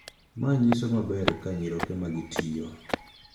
Ma nyiso maber ka nyiroke magi tiyo